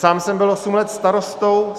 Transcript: Sám jsem byl osm let starostou.